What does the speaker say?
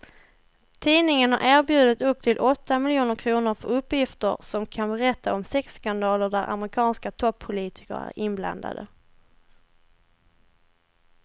Tidningen har erbjudit upp till åtta miljoner kr för uppgifter som kan berätta om sexskandaler där amerikanska toppolitiker är inblandade.